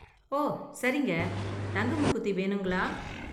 ஓ, சரிங்க. தங்க மூக்குத்தி வேணுங்களா?